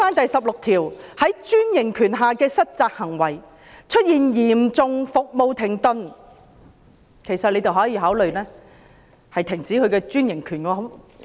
第16條"在專營權下的失責行為"提到"出現嚴重服務停頓"，政府可考慮終止其專營權。